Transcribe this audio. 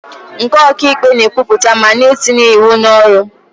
Nke ọka ikpe na-ekwupụta ma na-etinye ịwụ n'ọrụ